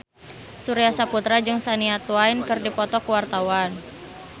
Surya Saputra jeung Shania Twain keur dipoto ku wartawan